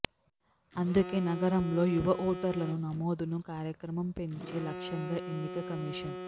అందుకే నగరంలో యవ ఓటర్లను నమోదును కార్యక్రమం పెంచే లక్ష్యంగా ఎన్నిక కమీషన్